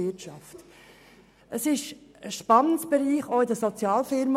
Es handelt sich um einen Spannungsbereich, auch für die Sozialfirmen.